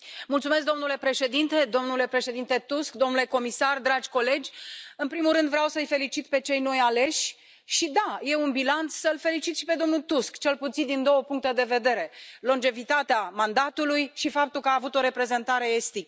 Domnule președinte, domnule președinte Tusk, domnule comisar, dragi colegi, în primul rând, vreau să îi felicit pe cei noi aleși și da, e un bilanț, îl felicit și pe domnul Tusk, cel puțin din două puncte de vedere longevitatea mandatului și faptul că a avut o reprezentare estică.